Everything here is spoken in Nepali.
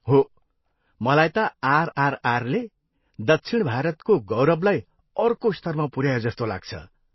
हो, मलाई त आरआरआरले दक्षिण भारतको गौरवलाई अर्को स्तरमा पुऱ्यायो जस्तो लाग्छ।